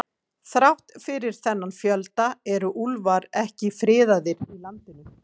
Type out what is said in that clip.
Þrátt fyrir þennan fjölda eru úlfar ekki friðaðir í landinu.